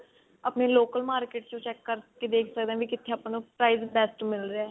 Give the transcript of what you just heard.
ਆਪਣੇ local market ਚੋਂ check ਕਰਕੇ ਦੇਖ ਸਕਦੇ ਹਾਂ ਵੀ ਕਿੱਥੇ ਆਪਾਂ ਨੂੰ price best ਮਿਲ ਰਿਹਾ